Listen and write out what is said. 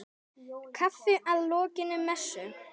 Kaffi að lokinni messu.